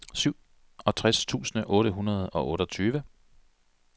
syvogtres tusind otte hundrede og otteogtyve